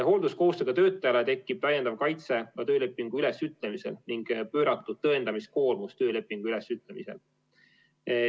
Hoolduskohustusega töötajale tekib täiendav kaitse ka töölepingu ülesütlemisel ning pööratud tõendamiskoormus töölepingu ülesütlemisel.